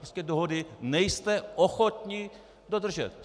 Prostě dohody nejste ochotni dodržet.